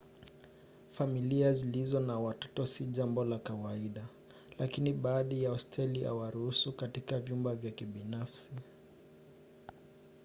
familia zilizo na watoto si jambo la kawaida lakini baadhi ya hosteli huwaruhusu katika vyumba vya kibinafsi